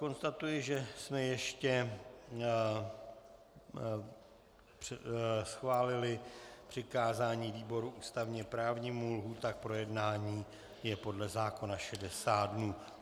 Konstatuji, že jsme ještě schválili přikázání výboru ústavně právnímu, lhůta k projednání je podle zákona 60 dnů.